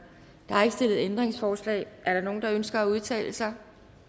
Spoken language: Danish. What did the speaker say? der er ikke stillet ændringsforslag er der nogen der ønsker at udtale sig